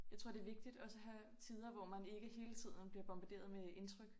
Jeg tror det vigtigt også at have tider hvor man ikke hele tiden bliver bombarderet med indtryk